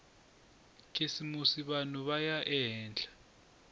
khisimusi vanhu va ya ehenhla